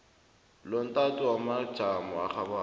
lomtato wamajamo arhabako